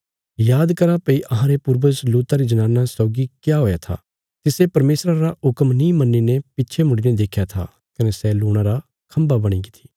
याद करा भई अहांरे पूर्वज लूता री जनाना सौगी क्या हुआ था तिसे परमेशरा रा हुक्म नीं मन्नीने पिछे मुड़ीने देख्या था कने सै लूणा रा खम्भा बणीगी थी